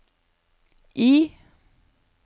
I